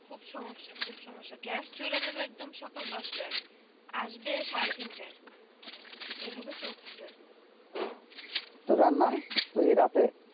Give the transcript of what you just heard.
খুব সমস্যা খুব সমস্যা gas চলে যাবে একদম দশ তাই আসবে সাড়ে তিন তা ই এই ভাবে চলতেছে তো রান্না ঐই রাতে